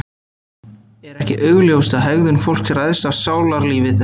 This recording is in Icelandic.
er ekki augljóst að hegðun fólks ræðst af sálarlífi þess